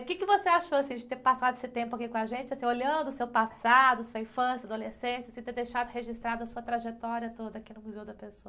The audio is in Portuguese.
O quê que você achou, assim, de ter passado esse tempo aqui com a gente, você ter, olhando o seu passado, sua infância, adolescência, você ter deixado registrada a sua trajetória toda aqui no?